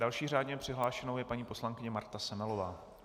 Další řádně přihlášenou je paní poslankyně Marta Semelová.